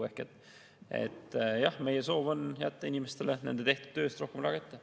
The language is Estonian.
Ehk jah, meie soov on jätta inimestele nende tehtud töö eest rohkem raha kätte.